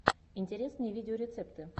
интересные видеорецепты